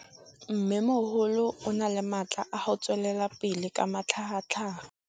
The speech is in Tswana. Mmêmogolo o na le matla a go tswelela pele ka matlhagatlhaga.